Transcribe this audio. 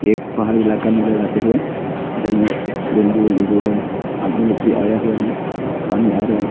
एक पहाड़ी इलाका नजर आते हुए इधर में बेंबू एंबु है आदमी लोग भी आया हुआ है पानी आ रहे हैं।